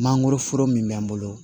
Mangoroforo min bɛ n bolo